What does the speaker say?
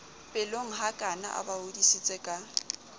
pelonghakana a ba hodisitse ka